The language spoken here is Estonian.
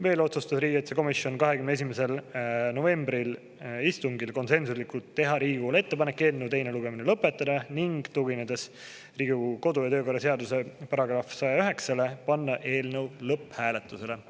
Veel otsustas riigikaitsekomisjon 21. novembri istungil konsensuslikult teha Riigikogule ettepaneku eelnõu teine lugemine lõpetada, ning tuginedes Riigikogu kodu- ja töökorra seaduse §-le 109, panna eelnõu lõpphääletusele.